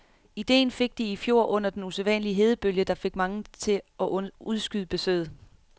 Idéen fik de i fjor under den usædvanlige hedebølge, der fik mange til at udskyde besøget.